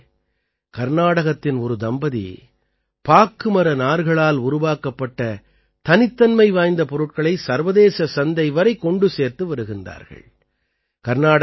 நண்பர்களே கர்நாடகத்தின் ஒரு தம்பதி பாக்குமர நார்களால் உருவாக்கப்பட்ட தனித்தன்மை வாய்ந்த பொருட்களை சர்வதேச சந்தை வரை கொண்டு சேர்த்து வருகிறார்கள்